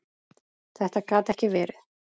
Þetta gat ekki verið!